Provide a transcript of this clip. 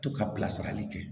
To ka bilasirali kɛ